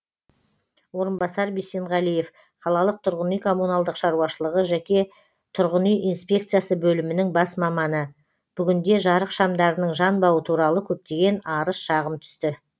орынбасар бисенғалиев қалалық тұрғын үй коммуналдық шаруашылығы жеке тұрғын үй инспекциясы бөлімінің бас маманы бүгінде жарық шамдарының жанбауы туралы көптеген арыз шағым түсті